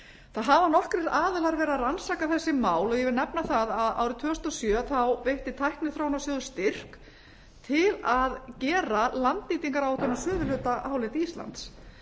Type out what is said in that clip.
það hafa nokkrir aðilar verið að rannsaka þessi mál ég vil nefna það að árið tvö þúsund og sjö þá veitti tækniþróunarsjóður styrk til að gera landnýtingaráætlun á suðurhluta hálendis íslands